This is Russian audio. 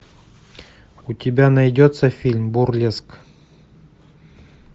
у тебя найдется фильм бурлеск